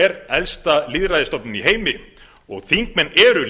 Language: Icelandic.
er elsta lýðræðisstofnun í heimi og þingmenn eru